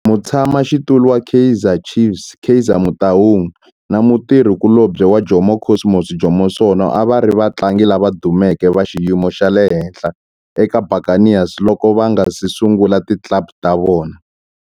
Mutshama xitulu wa Kaizer Chiefs Kaizer Motaung na mutirhi kulobye wa Jomo Cosmos Jomo Sono a va ri vatlangi lava dumeke va xiyimo xa le henhla eka Buccaneers loko va nga si sungula ti club ta vona.